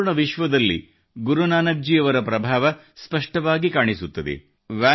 ಸಂಪೂರ್ಣ ವಿಶ್ವದಲ್ಲಿ ಗುರುನಾನಕ್ ಜಿ ಅವರ ಪ್ರಭಾವ ಸ್ಪಷ್ಟವಾಗಿ ಕಾಣಿಸುತ್ತದೆ